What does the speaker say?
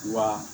Wa